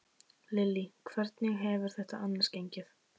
Lillý: Hvernig hefur þetta annars gengið?